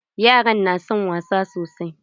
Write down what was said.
Yaran na son wasa sosai.